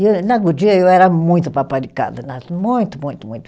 E na Goodyear eu era muito paparicada, muito, muito, muito.